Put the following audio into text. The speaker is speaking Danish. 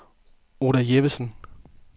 Oda Jeppesen